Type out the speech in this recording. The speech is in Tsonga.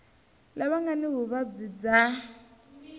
lava nga ni vuvabyi bya